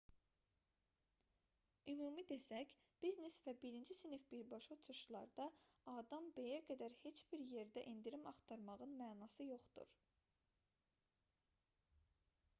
ümumi desək biznes və birinci sinif birbaşa uçuşlarda a-dan b-yə qədər heç bir yerdə endirim axtarmağın mənası yoxdur